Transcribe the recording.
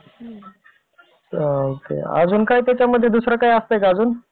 अजून काय त्याच्यामध्ये दुसरं काही असतंय का अजून?